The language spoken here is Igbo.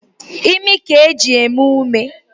Imi ka e ji eme ume.